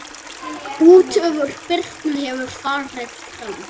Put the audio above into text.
Útför Birnu hefur farið fram.